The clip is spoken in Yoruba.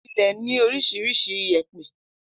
Ilẹ̀ ní oríṣiríṣi iyèpẹ̀